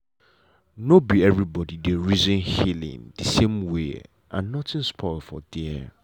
nor be everybody dey reason healing the same way and nothing spoil for there.